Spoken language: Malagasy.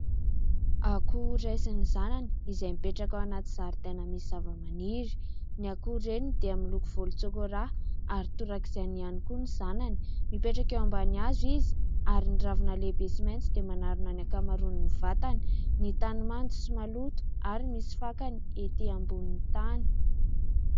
Akoho raisin'ny zanany izay mipetraka ao anaty zaridaina misy zavamaniry. Ny akoho reniny dia miloko volontsokolà ary torak'izay ihany koa ny zanany. Mipetraka eo ambany hazo izy ary ny ravina lehibe sy maitso dia manarona ny ankamaron'ny vatany ; ny tany mando sy maloto ary misy fakany ety ambonin'ny tany.